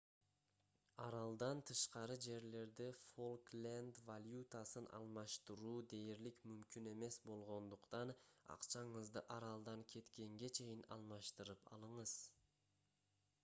аралдан тышкары жерлерде фолкленд валютасын алмаштыруу дээрлик мүмкүн эмес болгондуктан акчаңызды аралдан кеткенге чейин алмаштырып алыңыз